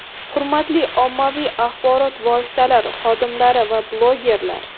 Hurmatli ommaviy axborot vositalari xodimlari va blogerlar!.